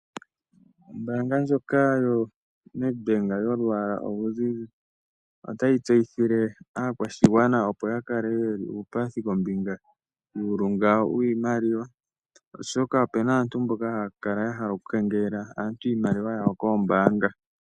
Ombaanga ndjoka yoNedbank yolwaala oluzizi otayi tseyithile aakwashigwana opo ya kale ye li uupathi kombinga yuulunga wiimaliwa oshoka opu na aantu mboka haya kala ya hala okukengelela aantu iimaliwa yawo kombaanga.